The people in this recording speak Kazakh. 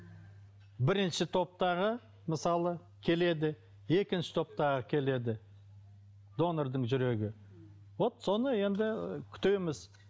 бірінші топтағы мысалы келеді екінші топтағы келеді донордың жүрегі вот соны енді күтеміз